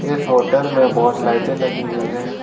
इस होटल में बहोत लाइटे लगी हुई है।